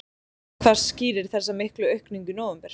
Hvað skýrir þessa miklu aukningu í nóvember?